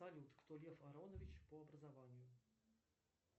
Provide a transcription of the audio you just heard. салют кто лев аронович по образованию